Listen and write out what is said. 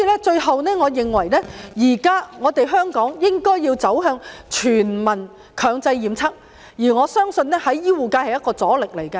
最後，我認為現在香港應該走向全民強制檢測，而我相信醫護界會是一個阻力。